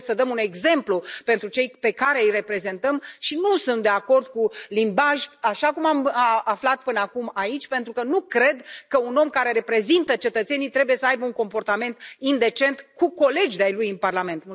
Noi trebuie să dăm un exemplu pentru cei pe care îi reprezentăm și nu sunt de acord cu un limbaj așa cum am aflat până acum aici, pentru că nu cred că un om care reprezintă cetățenii trebuie să aibă un comportament indecent cu colegi de ai lui în Parlament.